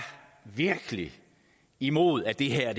imod at det her